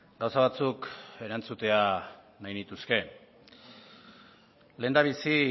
gauza batzuk erantzutea nahi nituzke lehendabizi